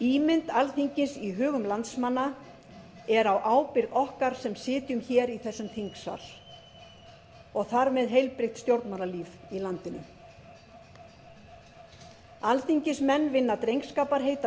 ímynd alþingis í hugum landsmanna er á ábyrgð okkar sem sitjum hér í þessum þingsal og þar með heilbrigt stjórnmálalíf í landinu alþingismenn vinna drengskaparheit að